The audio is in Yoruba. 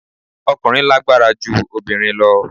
Ọkùnrin lágbára ju obìnrin lọ